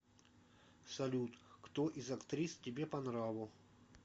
салют кто из актрис тебе по нраву